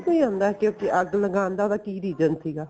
ਨੀਂ ਆਉਂਦਾ ਕੀ ਅੱਗ ਲਗਾਉਣ ਦਾ ਉਹਦਾ ਕੀ reason ਸੀਗਾ